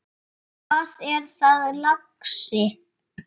Hvað er það, lagsi?